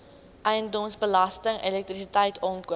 eiendomsbelasting elektrisiteit aankope